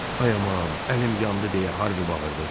Ay aman, əlim yandı deyə Harvi bağırdı.